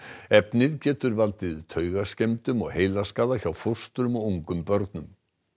efnið getur valdið taugaskemmdum og heilaskaða hjá fóstrum og ungum börnum